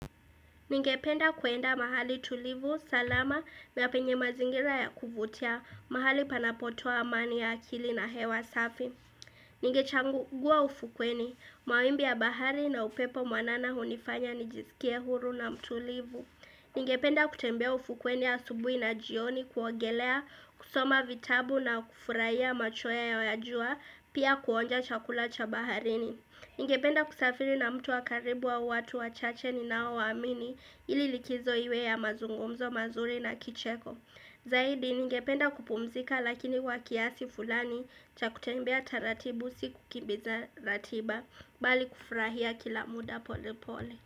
Ningependa kuenda mahali tulivu, salama na penye mazingira ya kuvutia. Mahali panapotoa amani ya akili na hewa safi. Ningechangua ufukweni. Mawimbi ya bahari na upepo mwanana hunifanya nijisikie huru na mtulivu. Ningependa kutembea ufukweni asubuhi na jioni kuogelea, kusoma vitabu na kufurahia machweo ya jua, pia kuonja chakula cha baharini. Ningependa kusafiri na mtu wa karibu au watu wachache ninao waamini ili likizo iwe ya mazungumzo mazuri na kicheko. Zaidi ningependa kupumzika lakini wa kiasi fulani cha kutembea taratibu sio kukimbiza ratiba, bali kufurahia kila muda pole pole.